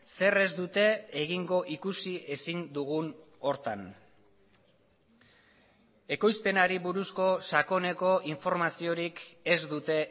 zer ez dute egingo ikusi ezin dugun horretan ekoizpenari buruzko sakoneko informaziorik ez dute